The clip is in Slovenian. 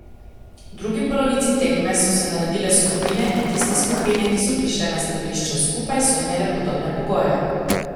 V drugi polovici tekme so se naredile skupine in tiste skupine, ki so prišle na strelišče skupaj, so imele podobne pogoje.